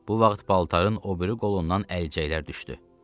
Bu vaxt paltarın o biri qolundan əlcəklər düşdü.